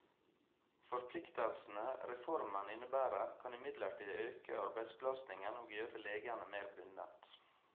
Forpliktelsene reformen innebærer, kan imidlertid øke arbeidsbelastningen og gjøre legene mer bundet.